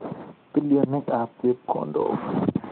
Bilioninikab chepkondok.